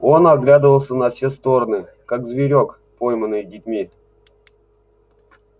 он оглядывался на все стороны как зверёк пойманный детьми